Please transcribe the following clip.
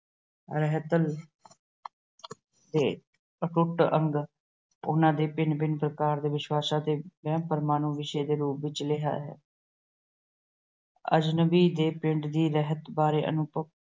ਰਹਿਤ ਤੇ ਅਟੁੱਟ ਅੰਗ ਉਹਨਾਂ ਦੇ ਭਿੰਨ-ਭਿੰਨ ਪ੍ਰਕਾਰ ਦੇ ਵਿਸ਼ਵਾਸਾਂ ਤੇ ਵਹਿਮ-ਭਰਮਾਂ ਨੂੰ ਵਿਸ਼ੇ ਦੇ ਰੂਪ ਵਿੱਚ ਲਿਆ ਹੈ। ਅਜਨਬੀ ਦੇ ਪਿੰਡ ਦੀ ਰਹਿਤ ਬਾਰੇ ਅਨੁਭਵ